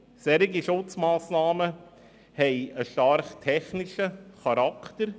Solche Schutzmassnahmen haben einen starken technischen Charakter.